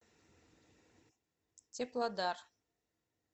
теплодар